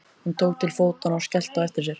Hún tók til fótanna og skellti á eftir sér.